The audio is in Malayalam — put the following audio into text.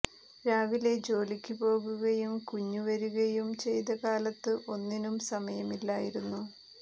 രാവിലെ ജോലിക്കു പോകുകയും കുഞ്ഞു വരികയും ചെയ്ത കാലത്ത് ഒന്നിനും സമയമില്ലായിരുന്നു